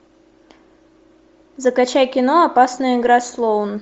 закачай кино опасная игра слоун